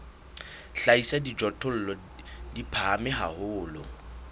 hlahisa dijothollo di phahame haholo